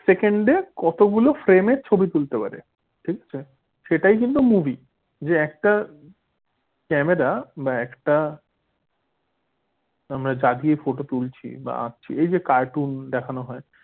সেকেন্ডে কতগুলো frame র ছবি তুলতে পারে ঠিক আছে? সেটার কিন্তু movie যে একটা ক্যামেরা বা একটা যা দিয়ে ফটো তুলছি বা এই যে কার্টুন দেখানো হয়।